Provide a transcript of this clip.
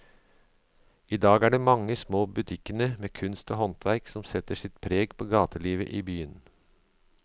I dag er det de mange små butikkene med kunst og håndverk som setter sitt preg på gatelivet i byen.